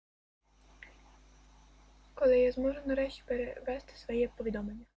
как можно распоряжаться своей повидал